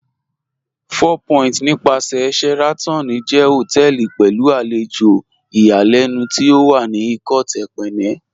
Four Point nípàsẹ̀ Sheraton jẹ́ hotẹẹli pẹ̀lú alẹjò ìyàlẹnu tí ó wà ní Ikot Ekpene